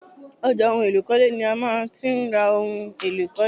Ọjà ohun èlò ìkọ́lé ni a má ti ń ra ohun èlò ìkọ́lé